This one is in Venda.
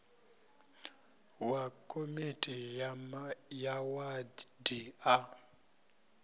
wa komiti ya wadi a